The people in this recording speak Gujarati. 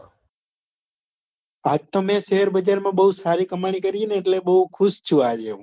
આજ તો મેં share બજાર માં બૌ સારી કમાણી કરી ને એટલે બૌ ખુશ છુ